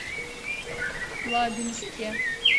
лабинске